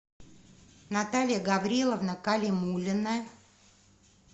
наталья гавриловна калимуллина